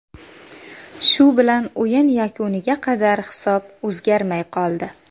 Shu bilan o‘yin yakuniga qadar hisob o‘zgarmay qoldi.